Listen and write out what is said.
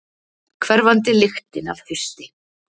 Hverfandi lyktin af hausti.